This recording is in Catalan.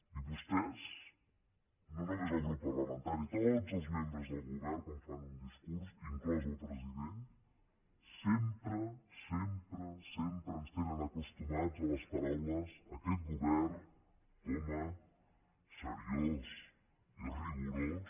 i vostès no només el grup parlamentari tots els membres del govern quan fan un discurs inclòs el president sempre sempre ens tenen acostumats a les paraules aquest govern coma seriós i rigorós